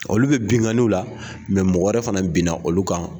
Olu bɛ binganiw la, mɔgɔ wɛrɛ fana binna olu kan.